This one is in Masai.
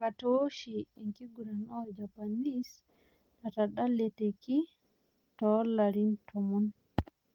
Botaoshi, enkiguran orjapanese natadalateki too larin tomon